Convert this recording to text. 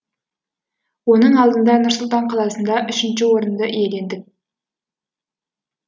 оның алдында нұр сұлтан қаласында үшінші орынды иелендік